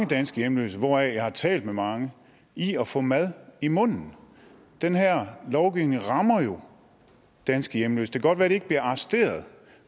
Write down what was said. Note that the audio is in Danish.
danske hjemløse hvoraf jeg har talt med mange i at få mad i munden den her lovgivning rammer jo danske hjemløse det kan godt være de ikke bliver arresteret